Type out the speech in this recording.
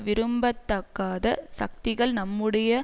விரும்பத்தகாத சக்திகள் நம்முடைய